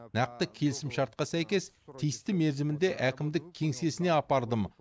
нақты келісімшартқа сәйкес тиісті мерзімінде әкімдік кеңсесіне апардым